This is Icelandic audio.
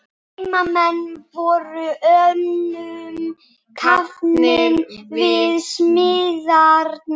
Heimamenn voru önnum kafnir við smíðarnar.